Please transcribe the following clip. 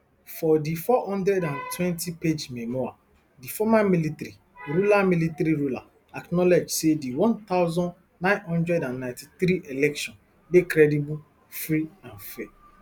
for di four hundred and twentypage memoir di former military ruler military ruler acknowledge say di one thousand, nine hundred and ninety-three election dey credible free and fair